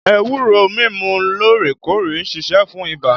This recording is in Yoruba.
Ewúro mímu loorekoore ń ṣiṣẹ́ fún ibà